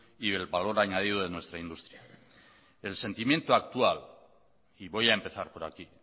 y el valor añadido de nuestra industria el sentimiento actual y voy a empezar por aquí